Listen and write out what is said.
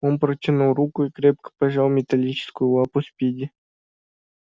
он протянул руку и крепко пожал металлическую лапу спиди